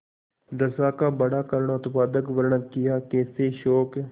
दशा का बड़ा करूणोत्पादक वर्णन कियाकैसे शोक